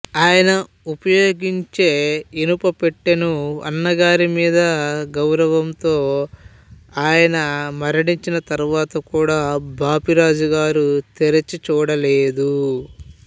ఆయన ఉపయోగించే ఇనుపపెట్టెను అన్నగారి మీద గౌరవంతో ఆయన మణించిన తరువాత కూడా బాపిరాజుగారు తెరిచి చూడలేదు